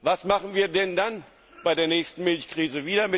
Preise. Was machen wir denn dann bei der nächsten Milchkrise?